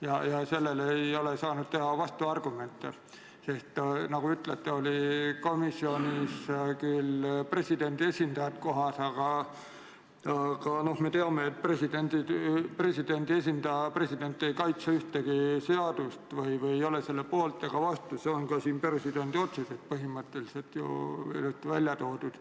ja nendele ei ole saadud esitada vastuargumente, sest, nagu te ütlete, oli komisjonis kohal küll presidendi esindaja, aga me teame, et presidendi esindaja ja president ei kaitse ühtegi seadust või ei ole ühegi seaduse poolt ega vastu – see on ka siin presidendi otsuses põhimõtteliselt ju välja toodud.